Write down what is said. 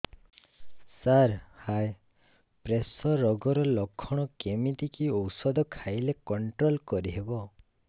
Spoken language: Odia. ସାର ହାଇ ପ୍ରେସର ରୋଗର ଲଖଣ କେମିତି କି ଓଷଧ ଖାଇଲେ କଂଟ୍ରୋଲ କରିହେବ